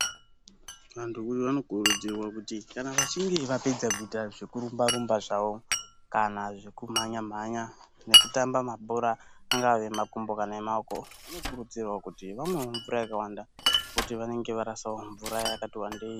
Vantu vanokurudzirwa kuti kana vachinge vapedza kuyita zvekurumba-rumba zvavo, kana zvekumhanya-mhanya, nekutamba mabhora angave emakumbo kana emaoko, vanokurudzirwa kuti vamwewo mvura yakawanda, ngekuti vanenge varasawo mvura yakati wandeyi.